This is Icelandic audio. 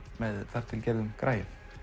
með þar til gerðum græjum